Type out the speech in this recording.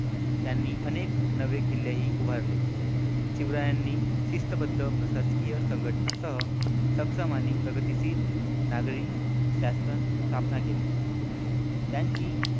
त्यांनी अनेक नवे किल्ले ही उभारले शिवरायांनी शिस्तबद्ध प्रशासकीय संघटनांसह सक्षम आणि प्रगतिशील नागरी शासन स्थापना केली. त्यांची